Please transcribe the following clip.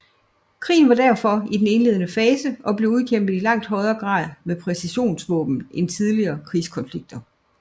Krigen var derfor i den indledende fase blevet udkæmpet i langt højere grad med præcisionsvåben end tidligere krigskonflikter